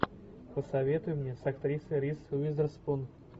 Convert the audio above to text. посоветуй мне с актрисой риз уизерспун